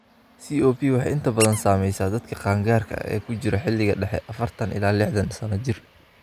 COP waxay inta badan saamaysaa dadka qaangaarka ah ee ku jira xilliga dhexe (afartan ilaa lihtan sano jir).